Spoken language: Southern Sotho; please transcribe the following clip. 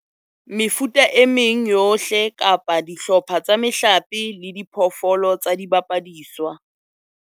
Mefuta e meng yohle kapa dihlopha tsa mehlape le diphoofolo tsa dibapadiswa